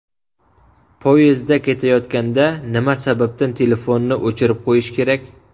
Poyezdda ketayotganda nima sababdan telefonni o‘chirib qo‘yish kerak?.